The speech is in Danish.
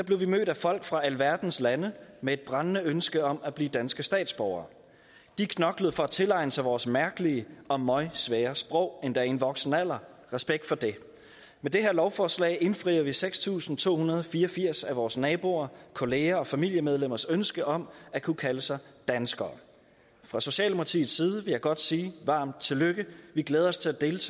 blev vi mødt af folk fra alverdens lande med et brændende ønske om at blive danske statsborgere de knoklede for at tilegne sig vores mærkelige og møgsvære sprog endda i en voksen alder respekt for det med det her lovforslag indfrier vi seks tusind to hundrede og fire og firs af vores naboer kolleger og familiemedlemmers ønske om at kunne kalde sig danskere fra socialdemokratiets side jeg godt sige varmt tillykke vi glæder os til at dele